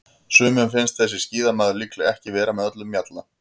Sumum finnst þessi skíðamaður líklega ekki vera með öllum mjalla.